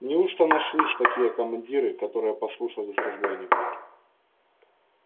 неужто нашлись такие командиры которые послушались разбойника